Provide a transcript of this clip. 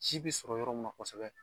Si bi sɔrɔ yɔrɔ mun na kɔsɛbɛ